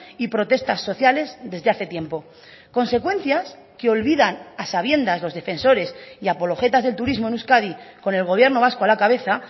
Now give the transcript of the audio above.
y protestas sociales desde hace tiempo consecuencias que olvidan a sabiendas los defensores y apologetas del turismo en euskadi con el gobierno vasco a la cabeza